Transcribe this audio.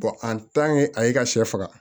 a y'i ka sɛ faga